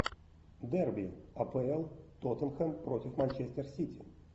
дерби апл тоттенхэм против манчестер сити